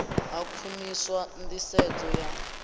ha u khwinisa nḓisedzo ya